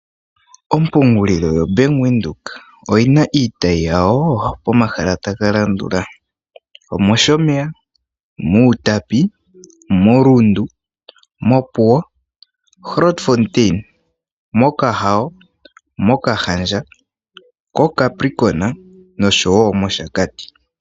Ompungulilo yoBank Windhoek oyina iitayi yawo pomahala taga landula; omOshomeya, mUtapi, moRundu, mOpuwo, Grootfontein, mOkahawo, mOkahandja, koCapricorn noshowo mOshakati.